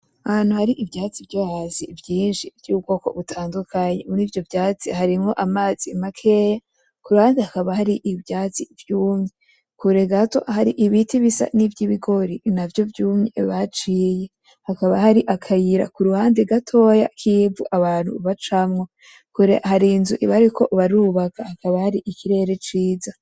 Ahantu hari ivyatsi vyo hasi vyinshi vyubwoko butandukanye muri ivyo vyatsi harimwo amazi makeya kuruhande hakaba hari ivyatsi vyumye kure gato hari ibiti bisa nivyibigori navyo vyumye baciye hakaba hari akayira kuruhande gatoya kivu abantu bacamwo hari inzu bariko barubaka hakaba hari ikirere ciza